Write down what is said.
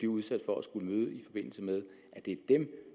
udsat for at skulle møde i forbindelse med